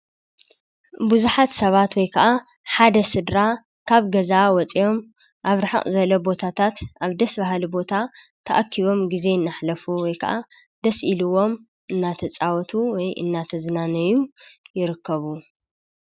ብዙሓት ሰባት ወይ ከዓ ሓደ ስድራ ካብ ገዛ ወፅኦም ኣብ ርሕቅ ዝበለ ቦታታት ኣብ ደስ ባሃሊ ቦታ ተኣኪቦም ግዜ እናሕለፉ ወይ ከዓ ደስ ኢልዎም እናተፃወቱ ወይ እናተዝናነዩ ይርከቡ።